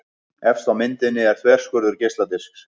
Efst á myndinni er þverskurður geisladisks.